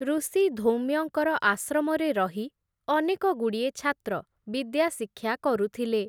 ଋଷି ଧୌମ୍ୟଙ୍କର ଆଶ୍ରମରେ ରହି ଅନେକଗୁଡ଼ିଏ ଛାତ୍ର ବିଦ୍ୟା ଶିକ୍ଷା କରୁଥିଲେ ।